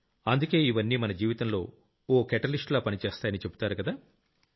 అందుకే ఇవన్నీ మన జీవితంలో ఓ కెటలిస్ట్ లా పనిచేస్తాయని చెబుతారుకదా